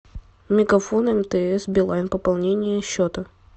мегафон мтс билайн пополнение счета